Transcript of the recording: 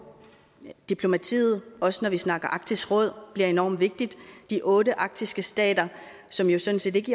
at diplomatiet også når vi snakker arktisk råd bliver enormt vigtigt de otte arktiske stater som jo sådan set ikke